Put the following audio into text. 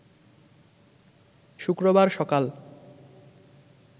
শুক্রবার সকাল